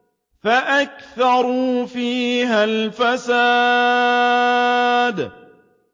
فَأَكْثَرُوا فِيهَا الْفَسَادَ